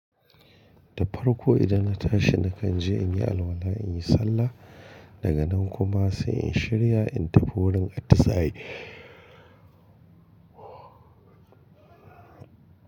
Da farko idan na tashi na kan je in yi alwala, in yi sallah daga nan kuma sai in shirya in tafi wurin ati saye.